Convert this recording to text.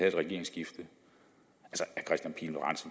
et regeringsskifte